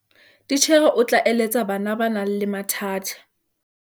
titjhere o tla eletsa bana ba nang le mathata